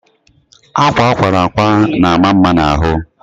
akwa akwara akwa na ama mma na ahụ